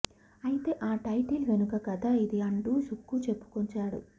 అయితే ఆ టైటిల్ వెనుక కథ ఇది అంటూ సుక్కు చెప్పుకొచ్చాడు